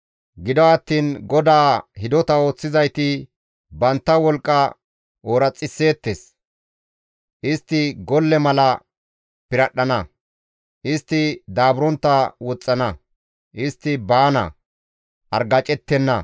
Gido attiin GODAA hidota ooththizayti bantta wolqqa ooraxisseettes; istti golle mala piradhdhana; istti daaburontta woxxana; istti baana; argacettenna.